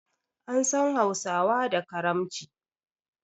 An san hausawa da karamci